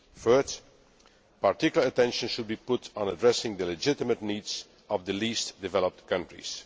third, particular attention should be put on addressing the legitimate needs of the Least Developed Countries.